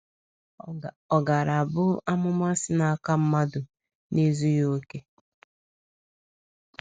Ọ gaara abụ amụma si n’aka mmadụ na - ezughị okè?.